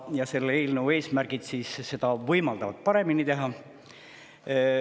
Selle eelnõu eesmärgid võimaldavad seda paremini teha.